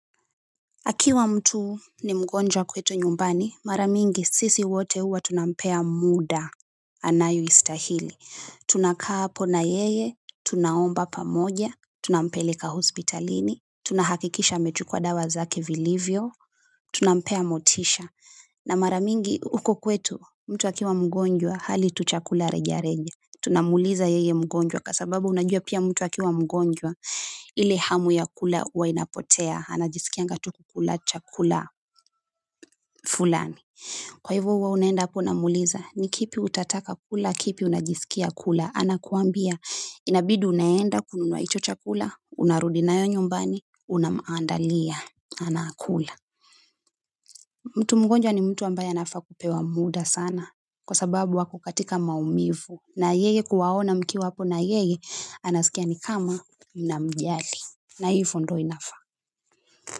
Akiwa mtu ni mgonjwa kwetu nyumbani, mara mingi sisi wote huwa tunampea muda, anayoistahili. Tunakaa hapo na yeye, tunaomba pamoja, tunampeleka hospitalini, tunahakikisha amechukua dawa zake vilivyo, tunampea motisha. Na mara mingi huku kwetu, mtu akiwa mgonjwa hali chakula tu cha rejareja. Tunamuuliza yeye mgonjwa kwa sababu unajua pia mtu akiwa mgonjwa ile hamu ya kula huwa inapotea. Anajisikianga tu kukula chakula fulani. Kwa hivo huwa unaenda hapo unamuuliza ni kipi utataka kula, kipi unajisikia kula. Anakuambia inabidi unaenda kununua hicho chakula, unarudi nayo nyumbani unamuandalia, anakula mtu mgonjwa ni mtu ambaye anafaa kupewa muda sana, kwa sababu ako katika maumivu. Na yeye kuwaona mkiwa hapo na yeye, anasikia ni kama mnamjali. Na hivo ndo inafaa.